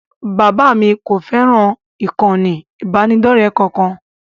Bàbá mi kò fẹ́ràn ìkànnì ìbánidọ́ọ̀rẹ́ kankan